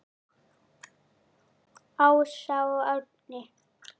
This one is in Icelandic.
Ása og Árni.